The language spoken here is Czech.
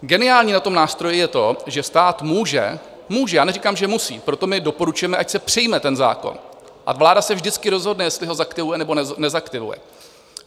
Geniální na tom nástroji je to, že stát může - může, já neříkám, že musí - proto my doporučujeme, ať se přijme ten zákon a vláda se vždycky rozhodne, jestli ho zaktivuje, nebo nezaktivuje.